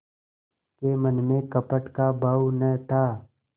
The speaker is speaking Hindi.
के मन में कपट का भाव न था